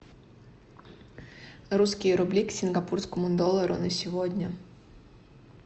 русские рубли к сингапурскому доллару на сегодня